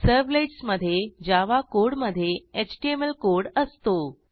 servlets मधे Java कोडमधे HTML code असतो